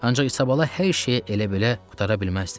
Ancaq İsabalala hər şeyi elə belə qurtara bilməzdi.